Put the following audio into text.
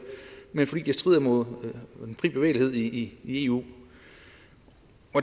men fordi det strider imod den frie bevægelighed i eu